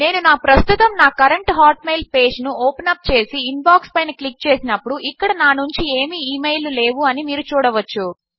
నేను ప్రస్తుతము నా కరెంట్ హాట్మెయిల్ పేజ్ ను ఓపెన్ అప్ చేసి ఇన్బాక్స్ పైన క్లిక్ చేసినప్పుడు ఇక్కడ నా నుంచి ఏమీ ఈ మెయిల్ లు లేవు అని మీరు చూడవచ్చు